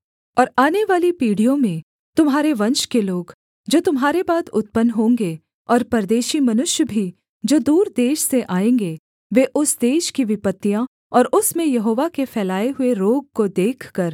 और आनेवाली पीढ़ियों में तुम्हारे वंश के लोग जो तुम्हारे बाद उत्पन्न होंगे और परदेशी मनुष्य भी जो दूर देश से आएँगे वे उस देश की विपत्तियाँ और उसमें यहोवा के फैलाए हुए रोग को देखकर